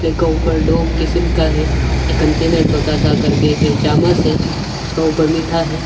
इसके ऊपर दो किसीम का है एक कंटेनर छोटा सा करके एक चामच है उसके ऊपर मीठा है।